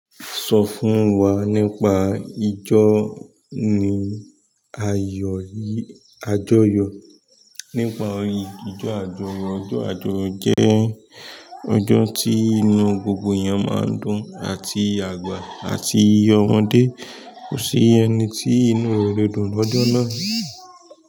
Sọ fún wa nípa ìjọ ni ayọ̀ yí, àjọyọ̀. Nípa ìjọ àjọyọ̀, ọjọ́ àjọyọ̀ jẹ́ ọjọ́ tí inú gbogbo èyàn máa n dùn àti àgbà àti omọ́dé. Kò sí ẹni tí inú rẹ̀ ò le dùn lọ́jọ́ náà.